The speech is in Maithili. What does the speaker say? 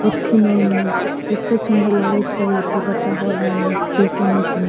होथीन एमे एते सुंदर लागे छै हेते बड़का हॉल में --